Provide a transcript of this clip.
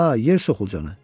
Hə, yer soxulcanı.